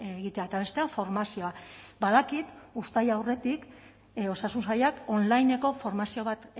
egitea eta bestea formazioa badakit uztaila aurretik osasun sailak onlineko formazio bat